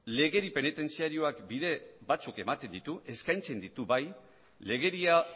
legedi penitentziarioak bide batzuk ematen ditu eskaintzen ditu bai legedia